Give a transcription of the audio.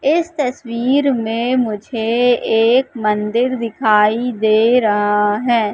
इस तस्वीर में मुझे एक मंदिर दिखाई दे रहा है।